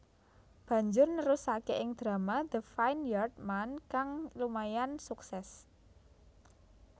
Banjur nerusake ing drama The Vineyard Man kang lumayan sukses